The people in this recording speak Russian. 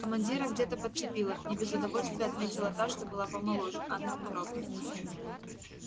командира где-то подцепила не без удовольствия отметила та что была помоложе анна петровна